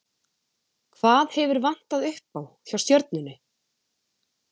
Hvað hefur vantað upp á, hjá Stjörnunni?